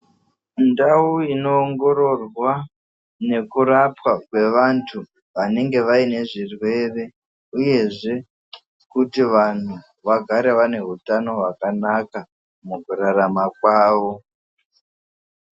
Ndau inoongororwa nekurapwa kwevantu vanenge vaine zvirwere uyezve kuti vanhu vagare vaine utano hwakanaka mukurarama kwavo.